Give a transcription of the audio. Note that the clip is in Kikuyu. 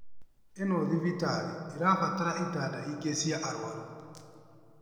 Ĩno thibitari ĩrabatara itanda ingĩ cia arwaru